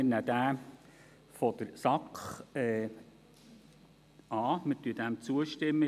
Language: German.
Wir nehmen jenen der SAK an, wir stimmen diesem zu.